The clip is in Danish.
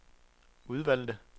udvalgte